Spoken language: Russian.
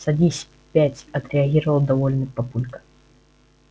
садись пять отреагировал довольный папулька